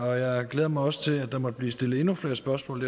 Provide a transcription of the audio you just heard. jeg glæder mig også til at der måtte blive stillet endnu flere spørgsmål